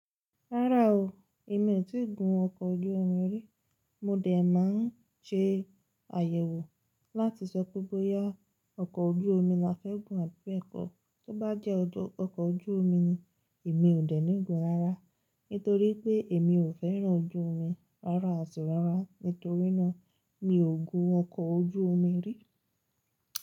Rárá o, èmi ò tíì gun ọkọ̀ ojú omi rí. Mo dè máa ń ṣe àyẹ̀wò láti sọ pé bóyá ọkọ̀ ojú omi la fẹ́ gùn àbí ẹkọ. Tó bá jẹ́ ọkọ̀ ojú omi ni, èmi ò dènì gun rárá. Nítorí pé èmi ò fẹ́ràn ojú omi rárá, àti rárá. Nítorí náà, mi ò gun ọkọ̀ ojú omi rí.